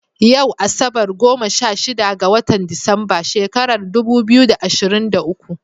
Yau asabar, goma sha shida ga watan Disamba shekarar dubu biyu da ashirin da uku.